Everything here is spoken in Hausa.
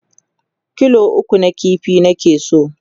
kilo 3 na ƙifi nake so